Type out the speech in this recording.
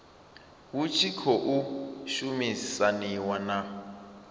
hu tshi khou shumisaniwa na